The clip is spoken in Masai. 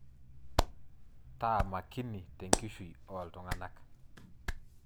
Taa makini tenkishui ooltung'anak.